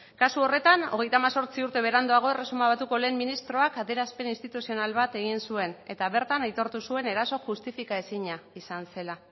kasu horretan hogeita hemezortzi urte beranduago erresuma batuko lehen ministroak adierazpen instituzional bat egin zuen eta bertan aitortu zuen eraso justifika ezina izan zela